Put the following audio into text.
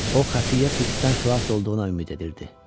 O xəfiyyə Fiksdən xilas olduğuna ümid edirdi.